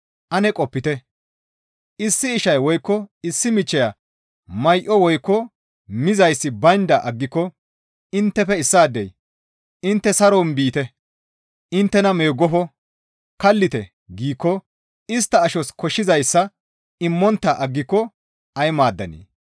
Ane qopite; issi ishay woykko issi michchiya may7oy woykko mizayssi baynda aggiko inttefe issaadey, «Intte saron biite! Inttena meeggofo! Kallite!» giikko istta ashos koshshizayssa immontta aggiko ay maaddanee?